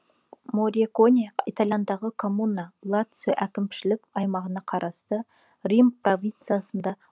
мориконе италиядағы коммуна лацио әкімшілік аймағына қарасты рим провинциясында